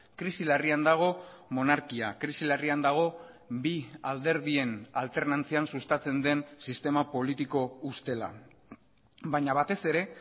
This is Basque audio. krisi larrian dago monarkia krisi larrian dago bi alderdien alternantzian sustatzen den sistema politiko ustela baina batez ere